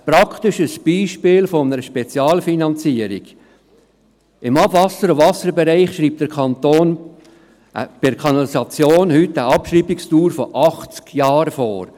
Ein praktisches Beispiel einer Spezialfinanzierung: Im Abwasser- und Wasserbereich schreibt der Kanton bei der Kanalisation heute eine Abschreibungsdauer von 80 Jahren vor.